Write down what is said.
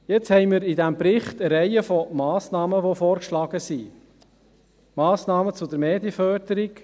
Jetzt haben wir in diesem Bericht eine Reihe vorgeschlagener Massnahmen – Massnahmen zur Medienförderung.